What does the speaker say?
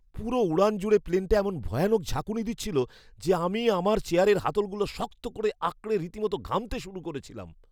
পুরো উড়ান জুড়ে প্লেনটা এমন ভয়ানক ঝাঁকুনি দিচ্ছিল যে আমি আমার চেয়ারের হাতলগুলো শক্ত করে আঁকড়ে রীতিমতো ঘামতে শুরু করেছিলাম।